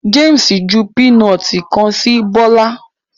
James ju pinọti kan si Bola